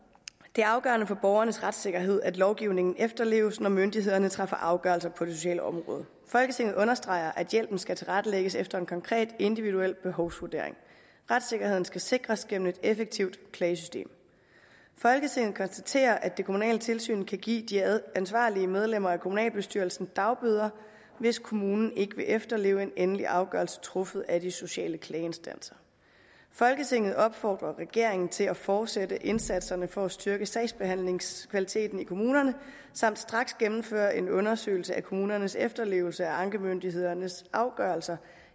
det er afgørende for borgernes retssikkerhed at lovgivningen efterleves når myndighederne træffer afgørelse på det sociale område folketinget understreger at hjælpen skal tilrettelægges efter en konkret individuel behovsvurdering retssikkerheden skal sikres gennem et effektivt klagesystem folketinget konstaterer at det kommunale tilsyn kan give de ansvarlige medlemmer af kommunalbestyrelsen dagbøder hvis kommunen ikke vil efterleve en endelig afgørelse truffet af de sociale klageinstanser folketinget opfordrer regeringen til at fortsætte indsatserne for at styrke sagsbehandlingskvaliteten i kommunerne samt straks gennemføre en undersøgelse af kommunernes efterlevelse af ankemyndighedernes afgørelser